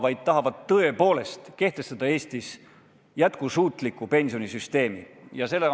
Ma loodan, et Eestis tahetakse tõepoolest kehtestada jätkusuutlikku pensionisüsteemi.